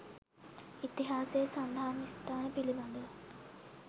ඉතිහාසයේ සඳහන් ස්ථාන පිළිබඳව